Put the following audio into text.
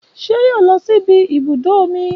Ṣé yóò lọ síbi ibùdó omi